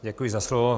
Děkuji za slovo.